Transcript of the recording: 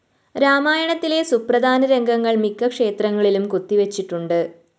രാമായണത്തിലെ സുപ്രധാന രംഗങ്ങള്‍ മിക്കക്ഷേത്രങ്ങളിലും കൊത്തിവെച്ചിട്ടുണ്ട്